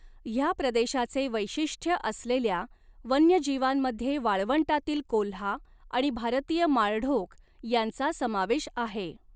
ह्या प्रदेशाचे वैशिष्ट्य असलेल्या वन्यजीवांमध्ये वाळवंटातील कोल्हा आणि भारतीय माळढोक यांचा समावेश आहे.